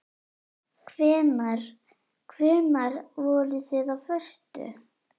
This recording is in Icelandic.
Hvenær. hvenær voruð þið á föstu?